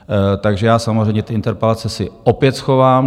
Takže já samozřejmě ty interpelace si opět schovám.